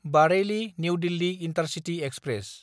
Bareilly New Delhi intercity express